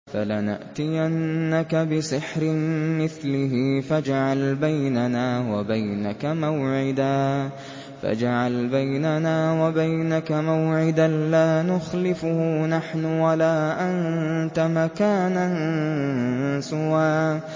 فَلَنَأْتِيَنَّكَ بِسِحْرٍ مِّثْلِهِ فَاجْعَلْ بَيْنَنَا وَبَيْنَكَ مَوْعِدًا لَّا نُخْلِفُهُ نَحْنُ وَلَا أَنتَ مَكَانًا سُوًى